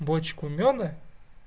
бочку мёда